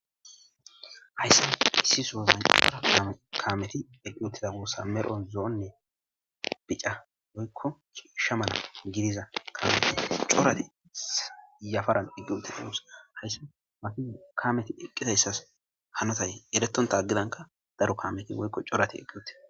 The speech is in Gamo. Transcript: Hayssa issisoozan cora kameti eqqi utiza wuossa medho zo'onne bica woykko chiishsha mala gidiza kamete corati yafaran dhiqqi uti samus hayssa makizu kameti iqqitayssas hanotay eretonta aggidanka daro kameti woykko corati eqqiwute.